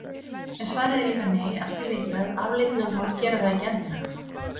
En svarið er líka nei að því leyti að afleidd lögmál gera það ekki endilega.